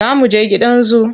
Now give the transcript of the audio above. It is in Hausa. Za mu je gidan zu.